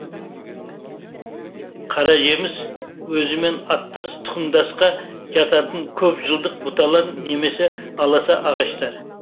қаражеміс өзімен аттас тұқымдасқа жататын көп жылдық бұталар немесе аласа ағаштар